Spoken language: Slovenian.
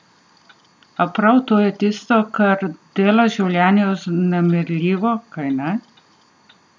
A prav to je tisto, kar dela življenje vznemirljivo, kajne?